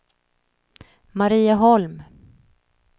Marieholm